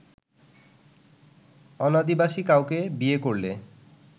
অনাদিবাসী কাউকে বিয়ে করলে